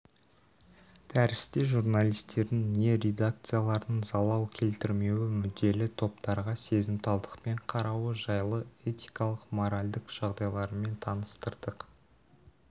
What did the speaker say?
дәрісте журналистердің не редакциялардың залал келтірмеуі мүдделі топтарға сезімталдықпен қарауы жайлы этикалық-моральдық жағдайларымен таныстырдық